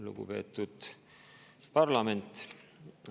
Lugupeetud parlament!